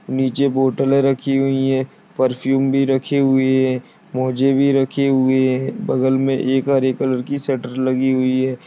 नीचे बोटले रखी हुई है परफ्यूम भी रखे हुए है मोजे भी रखे हुए है बगल मे एक हरे कलर की शटर लगी हुई है।